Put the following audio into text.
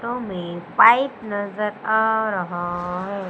To में pipe नजर आ रहा है।